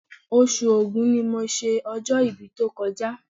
Oṣù Ògún ni mo ṣe ọjọ́-ibí tó kọjá